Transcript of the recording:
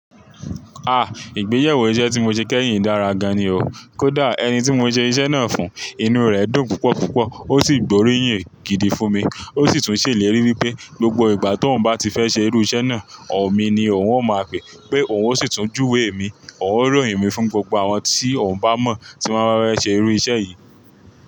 Ah! Ìgbéyàwó iṣẹ́ tí mo ṣe kẹ́yìn dára gan ni o. Kódà ẹni tí mo ṣe iṣẹ́ náà fún, inú rẹ dùn púpọ̀púpọ̀, o sì gbóríyìn gidi fún mi. O sì tún ṣèlérí wípé gbogbo ìgbà tó òun bá ti fẹ́ ṣe irú iṣẹ́ náà, ọ̀ mi ni òun ó máa pè, pé òun ó sì tún júwe mi, òun ó ròyìn mi fún gbogbo àwọn tí òun bá mọ̀ tí wọ́n bá fẹ́ ṣe irú iṣẹ́ yìí.